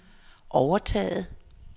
overtaget